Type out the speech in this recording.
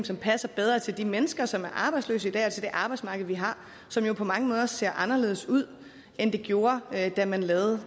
som passer bedre til de mennesker som er arbejdsløse i dag og til det arbejdsmarked vi har som jo på mange måder ser anderledes ud end det gjorde da man lavede